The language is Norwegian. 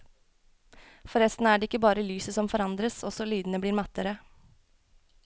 Forresten er det ikke bare lyset som forandres, også lydene blir mattere.